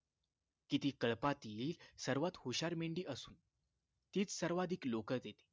की ती कळपातली सर्वात हुशार मेंढी असून तीच सर्वाधिक लोकर देते